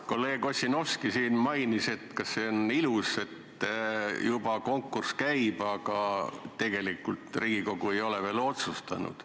Kolleeg Ossinovski küsis, kas see on ilus, et juba konkurss käib, aga tegelikult Riigikogu ei ole veel otsustanud.